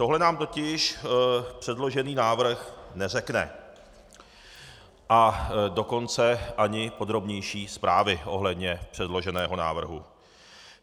Tohle nám totiž předložený návrh neřekne, a dokonce ani podrobnější zprávy ohledně předloženého návrhu.